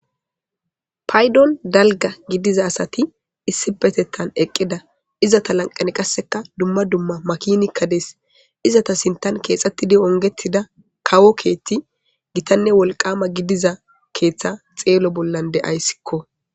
paydon dalga gidiza asati issi petettan eqqida iza ta lanqani qasseka dumma dumma makinikka dees izata sintan keexxettidi ongetida kawo keethti gitanne wolqama gidiza keeththa xeelo bollan de7ayssikko